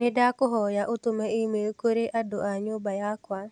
Nĩndakũhoya ũtũme e-mai kũrĩ andu a nyũmba yakwa.